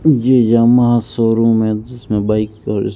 ये Yamaha showroom है जिसमें बाइक और--